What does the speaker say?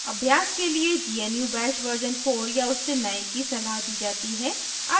अभ्यास के लिए gnu bash version 4 या उससे नए की सलाह दी जाती है